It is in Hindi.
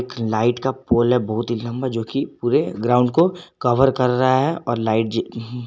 लाइट का पोल है बहुत ही लंबा जोकि पूरे ग्राउंड को कवर कर रहा है और लाइट --